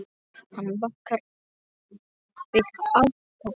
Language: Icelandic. Hann bakar þig alltaf.